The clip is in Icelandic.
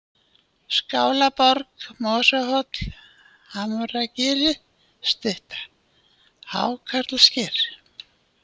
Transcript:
Skálarborg, Mosahóll, Hamragilið stutta, Hákarlasker